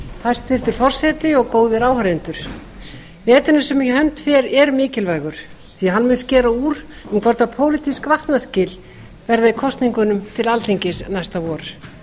hæstvirtur forseti góðir áheyrendur veturinn sem í hönd fer er mikilvægur því að hann mun skera úr um hvort pólitísk vatnaskil verði í kosningunum til alþingis næsta vor